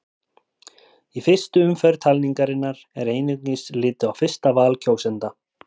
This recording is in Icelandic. Í fyrstu umferð talningarinnar er einungis litið á fyrsta val kjósenda.